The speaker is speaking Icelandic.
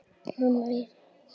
Hann er hér.